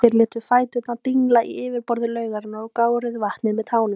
Þeir létu fæturna dingla í yfirborði laugarinnar og gáruðu vatnið með tánum.